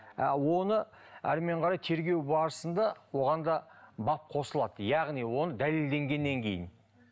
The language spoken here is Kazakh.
а оны әрмен қарай тергеу барысында оған да бап қосылады яғни оны дәлелденгеннен кейін